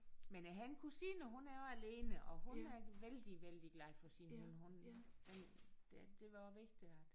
Men jeg har en kusine hun er alene og hun er vældig vældig glad for sin hund hun det det var også vigtigt at